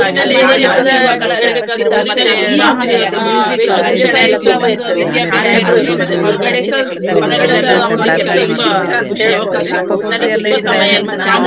ಅದೇ ನಮ್ಗೀರುವಾಗಲೂ ಅದೇ first ಇತ್ತು ಆದ್ಮೇಲೆ ಆದ್ರ ಮೇಲೂಸ ಯಾರಿಗೂಸ ಅದು ಸಿಗ್ಲಿಲ್ಲ. ಅದೊಂದು ಆದ್ಮೇಲ್ ಮತ್ತೆ ನಾವು ಹತ್ತನೇ ಕ್ಲ~ ತರಗತಿಯಲ್ಲಿ ex~ exam ಬರ್ದದ್ದು ಇದ್ರದ್ದು public exam ಬರ್ದದ್ದು.